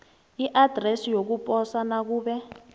iadresi yokuposa nakube